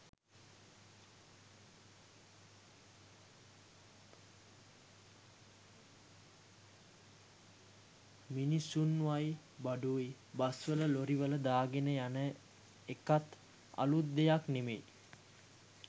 මිනිස්‌සුන්වයි බඩුයි බස්‌වල ලොරිවල දාගෙන යන එකත් අලුත් දෙයක්‌ නෙමෙයි.